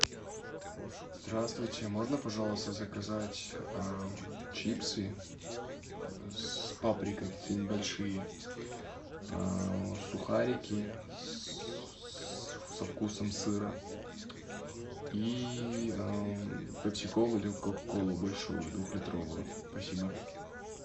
здравствуйте можно пожалуйста заказать чипсы с паприкой какие нибудь большие сухарики со вкусом сыра и пепси колу или кока колу большую двухлитровую спасибо